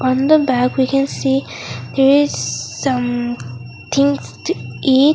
from the bag we can see there is some things to eat.